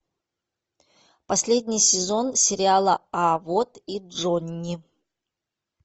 последний сезон сериала а вот и джонни